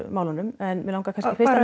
málunum en mig langar